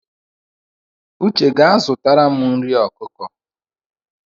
Uche gaa zụtara m nri ọkụkọ!